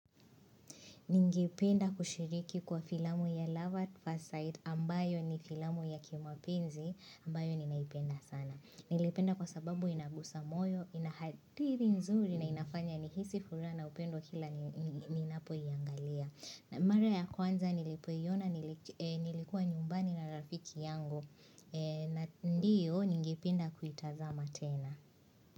Ningependa kushiriki kwa filamu ya Lovat Fasite ambayo ni filamu ya kimapenzi ambayo ninaipenda sana. Niliipenda kwa sababu inagusa moyo, inahatiri nzuri na inafanya nihisi furaha na upendo kila ninapoiangalia. Mara ya kwanza nilipoiona nilikuwa nyumbani na rafiki yangu. Ndiyo ningipenda kuitazama tena.